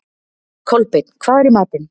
Kolbeinn, hvað er í matinn?